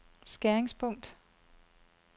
skæringspunkt